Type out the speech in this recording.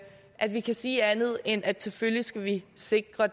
at vi kan sige andet end at selvfølgelig skal vi sikre